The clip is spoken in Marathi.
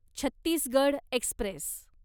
छत्तीसगड एक्स्प्रेस